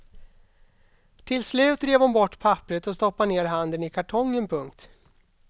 Till slut rev hon bort papperet och stoppade ner handen i kartongen. punkt